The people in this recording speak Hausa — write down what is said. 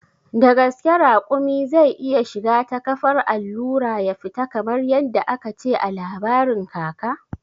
Da gaske raƙumi zai iya shiga ta kafar allura ya fita kamar yadda aka ce a labarin kaka?